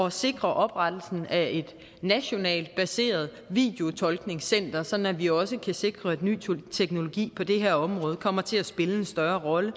at sikre oprettelsen af et nationalt baseret videotolkningscenter sådan at vi også kan sikre at ny teknologi kommer til at spille en større rolle